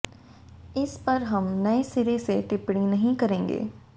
इस पर हम नये सिरे से टिप्पणी नहीं करेंगे